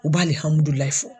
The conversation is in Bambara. U b'alihamudulahi fɔ